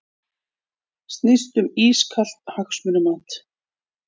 Snýst um ískalt hagsmunamat